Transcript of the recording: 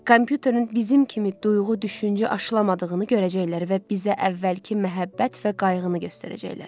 Kompüterin bizim kimi duyğu-düşüncə aşılanmadığını görəcəklər və bizə əvvəlki məhəbbət və qayğını göstərəcəklər.